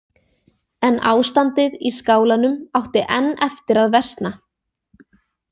En ástandið í skálanum átti enn eftir að versna.